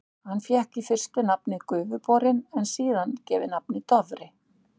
Hann fékk í fyrstu nafnið Gufuborinn, en var síðar gefið nafnið Dofri.